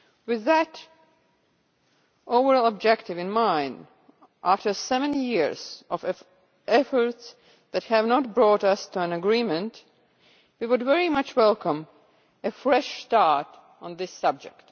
With that overall objective in mind, after seven years of efforts that have not brought us to an agreement, we would very much welcome a fresh start on this subject.